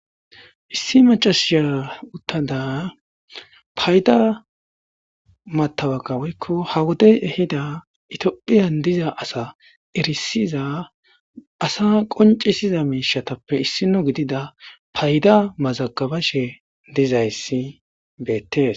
issi macasiyaa uttada payda matabaga woykko ha wodey ehida itiophiyan diza asa erisiza asa qoncisiza miishatappe issino gidida payda mazagabashe dizayssi beettees